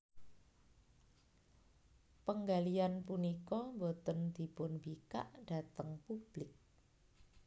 Penggalian punika boten dipunbikak dhateng publik